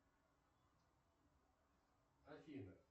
афина